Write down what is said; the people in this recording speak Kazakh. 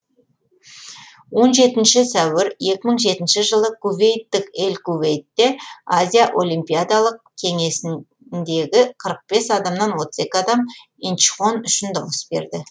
он жетінші сәуір екі мың жетінші жылы кувейттік эль кувейтте азия олимпиадалық кеңесіндегі қырық адамнан отыз екі адам инчхон үшін дауыс берді